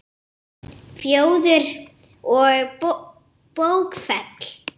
Góða besta láttu ekki svona!